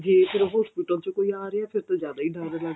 ਤੇ ਜੇ hospital ਚੋਂ ਕੋਈ ਆ ਰਿਹਾ ਫਿਰ ਤੇ ਜ਼ਿਆਦਾ ਹੀ ਡਰ ਲੱਗਦਾ